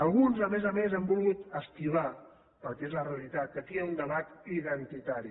alguns a més a més han volgut esquivar perquè és la realitat que aquí hi ha un debat identitari